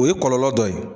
O ye kɔlɔlɔ dɔ ye